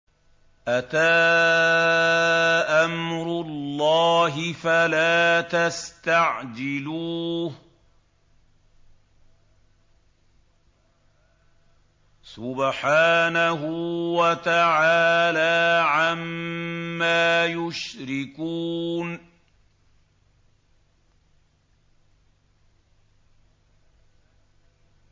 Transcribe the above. أَتَىٰ أَمْرُ اللَّهِ فَلَا تَسْتَعْجِلُوهُ ۚ سُبْحَانَهُ وَتَعَالَىٰ عَمَّا يُشْرِكُونَ